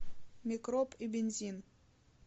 микроб и бензин